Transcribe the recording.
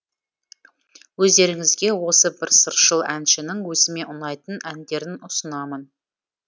өздеріңізге осы бір сыршыл әншінің өзіме ұнайтын әндерін ұсынамын